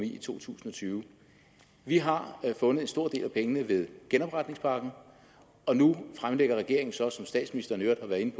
i to tusind og tyve vi har fundet en stor del af pengene med genopretningspakken og nu fremlægger regeringen så som statsministeren i øvrigt